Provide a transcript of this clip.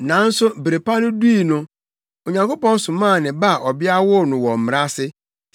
Nanso bere pa no dui no, Onyankopɔn somaa ne Ba a ɔbea woo no wɔ Mmara ase